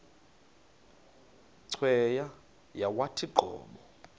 cweya yawathi qobo